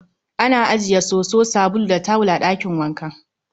Ana ajiye soso, sabulu, da tawul a ɗakin wanka